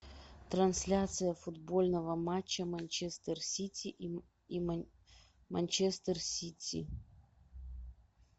трансляция футбольного матча манчестер сити и манчестер сити